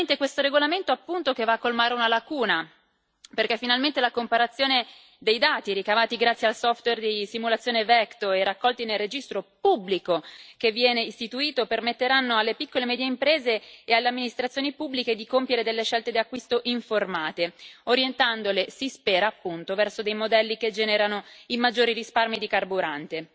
Questo regolamento va a colmare una lacuna, perché finalmente la comparazione dei dati ricavati grazie al software di simulazione Vector e raccolti nel registro pubblico che viene istituito permetterà alle piccole e medie imprese e alle amministrazioni pubbliche di compiere delle scelte di acquisto informate, orientandole si spera appunto verso dei modelli che generano i maggiori risparmi di carburante